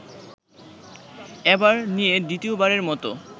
এবার নিয়ে দ্বিতীয়বারের মতো